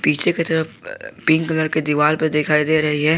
पीछे की तरफ पिंक कलर के दीवार पर दिखाई दे रही है।